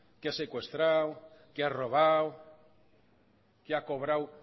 que ha secuestrado que ha robado que ha cobrado